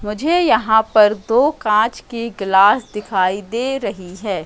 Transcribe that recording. मुझे यहां पर दो कांच के ग्लास दिखाई दे रही है।